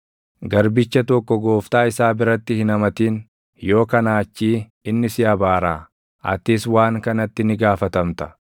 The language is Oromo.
“Garbicha tokko gooftaa isaa biratti hin hamatin, yoo kanaa achii inni si abaaraa; atis waan kanatti ni gaafatamta.